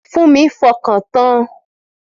Fúnmi fọkàn tan